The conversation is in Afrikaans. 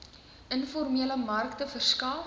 informele markte verskaf